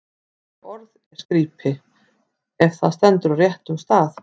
Ekkert orð er skrípi, ef það stendur á réttum stað.